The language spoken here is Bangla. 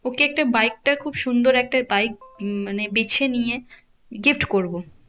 ওকে একটা বাইকটা খুব সুন্দর একটা বাইক উম মানে বেছে নিয়ে gift করবো।